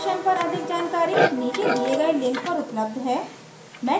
इस mission पर अधिक जानकारी नीचे दिए गए link पर उपलब्ध है